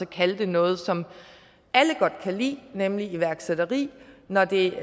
kalde det noget som alle godt kan lide nemlig iværksætteri når det